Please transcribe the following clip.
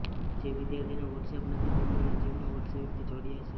જે વિદ્યાર્થીને વોટ્સએપ નથી તેમને નજીકના વોટ્સએપથી જોડયા છે